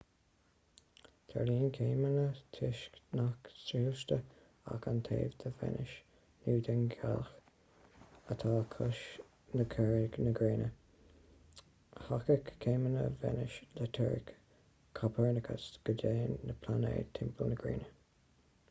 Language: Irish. tarlaíonn céimeanna toisc nach soilsítear ach an taobh de véineas nó den ghealach atá os comhair na gréine. thacaigh céimeanna véineas le teoiric copernicus go dtéann na pláinéid timpeall na gréine